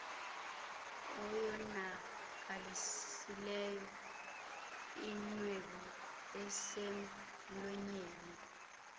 oyonakalisileyo inwebu eselmlonyeni